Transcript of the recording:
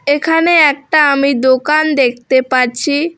এখানে একটা আমি দোকান দেখতে পাচ্ছি।